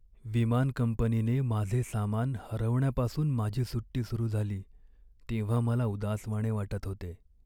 विमान कंपनीने माझे सामान हरवण्यापासून माझी सुट्टी सुरू झाली तेव्हा मला उदासवाणे वाटत होते.